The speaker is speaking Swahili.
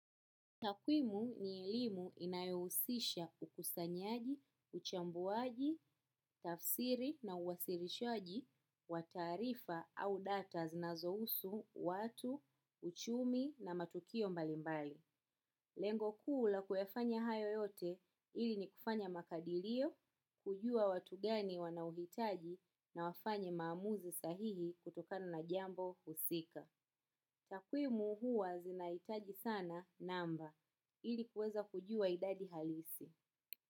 Takwimu ni elimu inayohusisha ukusanyaji, uchambuaji, tafsiri na uwasilishaji, wa taarifa au data zinazohusu, watu, uchumi na matukio mbalimbali. Lengo kuu la kuyafanya hayo yote ili ni kufanya makadirio, kujua watu gani wanauhitaji na wafanya maamuzi sahihi kutokano na jambo usika. Takwimu huwa zinaitaji sana namba ilikuweza kujua idadi halisi.